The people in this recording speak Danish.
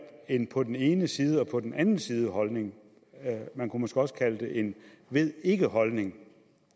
en på den ene side og på den anden side holdning man kunne måske også kalde det en ved ikke holdning